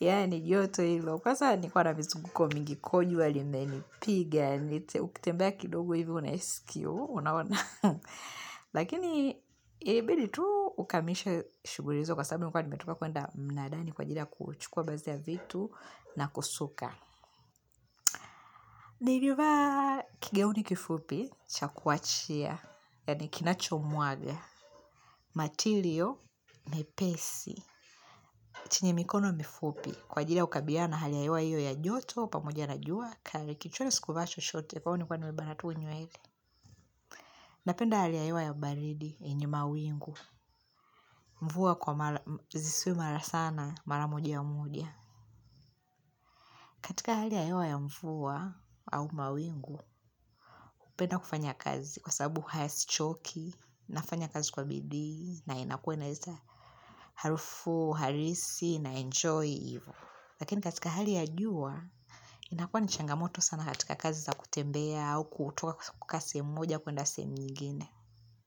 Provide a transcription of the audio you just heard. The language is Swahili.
Yani, joto hilo. Kwanza nilikuwa na mizunguko mingi ko jua limenipiga. Niite, ukitembea kidogo hivyo, unaisikia. Lakini, ilibidi tu ukamilishe shughuli zako. Kwa sababu nilikuwa nimetoka kwenda mnadani kwaajili ya kuchukua baazi ya vitu na kusuka. Nilivaa kigauni kifupi, chakuachia, yaani kinacho mwaga. Matilio, mepesi, chenye mikono mifupi. Kwa ajili ya kukabiliana na hali ya hewa iyo ya joto, pamoja na jua, kali kichwani sikuvaa chochote, kwahiyo nilikuwa nimebana tu nywele Napenda ya hali hewa ya baridi, yenye mawingu, mvua zisiwe mara sana, mara moja moja katika hali ya hewa ya mvua au mawingu, napenda kufanya kazi kwa sababu hasichoki, nafanya kazi kwa bidii, na inakua naweza harafu, halisi, na enjoy, ivo. Lakini katika hali ya jua, inakuwa ni changamoto sana katika kazi za kutembea au kutoka kukaa sehemu moja kuenda sehemu nyingine.